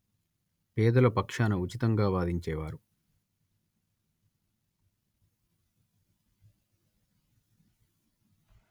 పేదల పక్షాన ఉచితంగా వాదించేవారు